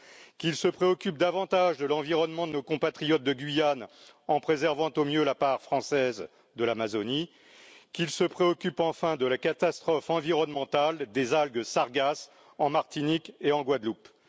qu'il se préoccupe davantage de l'environnement de nos compatriotes de Guyane en préservant au mieux la part française de l'Amazonie, qu'il se préoccupe enfin de la catastrophe environnementale des algues sargasses en Martinique et en Guadeloupe.